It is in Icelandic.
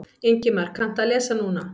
Ingimar: Kanntu að lesa núna?